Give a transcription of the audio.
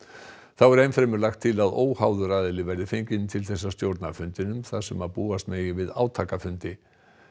þá er enn fremur lagt til að óháður aðili verði fenginn til að stjórna fundinum þar sem búast megi við átakafundi